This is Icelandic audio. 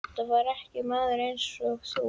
Þetta var ekki maður einsog þú.